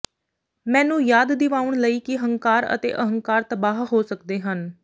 ਮੈਨੂੰ ਯਾਦ ਦਿਵਾਉਣ ਲਈ ਕਿ ਹੰਕਾਰ ਅਤੇ ਅਹੰਕਾਰ ਤਬਾਹ ਹੋ ਸਕਦੇ ਹਨ